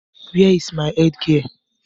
Where is my headgear